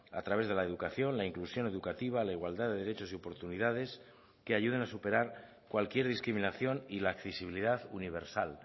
a través de la educación la inclusión educativa la igualdad de derechos y oportunidades que ayuden a superar cualquier discriminación y la accesibilidad universal